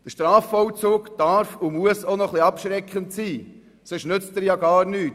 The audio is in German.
Strafvollzug darf und muss auch ein bisschen abschreckend wirken, denn sonst nützt er gar nichts.